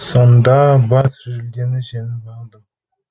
сонда бас жүлдені жеңіп алдым